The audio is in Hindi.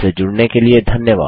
हमसे जुड़ने के लिए धन्यवाद